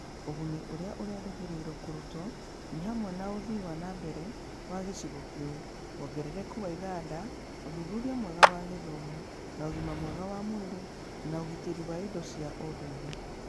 Ũguni ũrĩa ũrerĩgĩrĩrũo kũrutwo nĩ hamwe na ũthii wa na mbere wa gĩcigo kĩu, wongerereku wa iganda, ũthuthuria mwega wa gĩthomo na ũgima mwega wa mwĩrĩ, na ũgitĩri wa indo cia ũndũire.